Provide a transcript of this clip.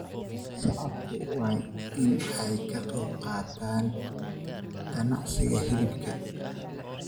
Shacabku waa in ay ka qayb qaataan ganacsiga hilibka.